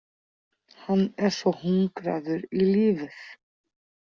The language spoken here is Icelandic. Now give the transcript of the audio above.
Hann er svo hungraður í lífið.